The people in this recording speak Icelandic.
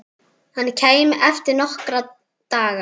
Hann kæmi eftir nokkra daga.